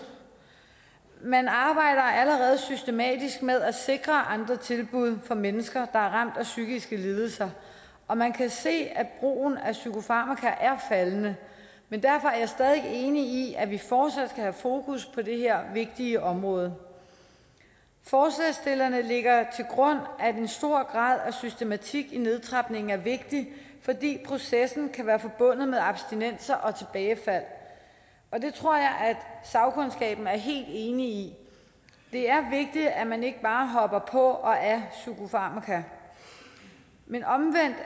man arbejder allerede systematisk med at sikre andre tilbud for mennesker der er ramt af psykiske lidelser og man kan se at brugen af psykofarmaka er faldende men derfor er jeg stadig væk enig i at vi fortsat skal have fokus på det her vigtige område forslagsstillerne lægger til grund at en stor grad af systematik i nedtrapningen er vigtigt fordi processen kan være forbundet med abstinenser og tilbagefald det tror jeg at sagkundskaben er helt enig i det er vigtigt at man ikke bare hopper på og af psykofarmaka men omvendt er